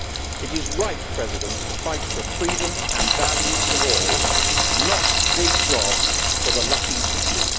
It is right to fight for freedom and values for all, not big jobs for the lucky few.